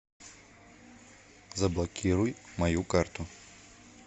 заблокируй мою карту